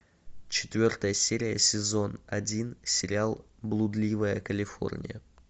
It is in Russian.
четвертая серия сезон один сериал блудливая калифорния